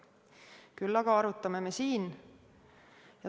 Küll aga arutame me seda teemat siin.